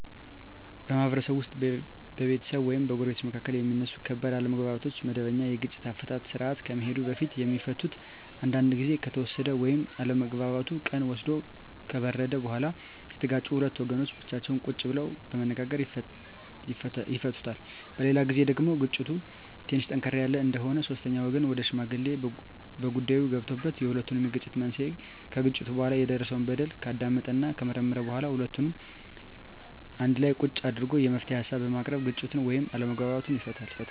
በማህበረሰብ ውስጥ በቤተሰብ ወይም በጎረቤቶች መካከል የሚነሱ ከባድ አለመግባባቶች ወደመበኛ የግጭት አፈታት ስርአት ከመሄዱ በፊት የሚፈቱት አንዳንዱ ግዜ ከተወሰደ ወይም አለመግባባቱ ቀን ወስዶ ከበረደ በኋላ የተጋጩት ሁለት ወገኖች ብቻቸውን ቁጭ ብለው በመነጋገር ይፈቱታል። በሌላ ግዜ ደግሞ ግጭቱ ትንሽ ጠንከር ያለ እንደሆነ ሶስተኛ ወገን ወይም ሽማግሌ በጉዳይዮ ገብቶበት የሁለቱንም የግጭት መንሴና ከግጭቱ በኋላ የደረሰው በደል ካዳመጠና ከመረመረ በኋላ ሁለቱንም አንድላ ቁጭ አድርጎ የመፍትሄ ሀሳቦችን በማቅረብ ግጭቱን ወይም አለመግባባቱን ይፈታል።